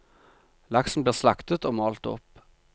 Laksen blir slaktet og malt opp.